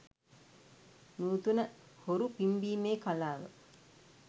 නූතන හොරු පිම්බීමේ කලාව